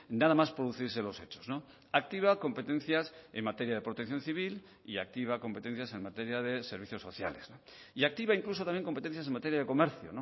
nada más producirse los hechos activa competencias en materia de protección civil y activa competencias en materia de servicios sociales y activa incluso también competencias en materia de comercio